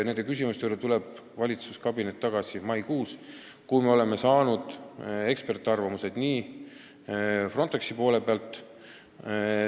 Nende küsimuste juurde tuleb valitsuskabinet tagasi maikuus, kui me oleme saanud eksperdiarvamused Frontexilt.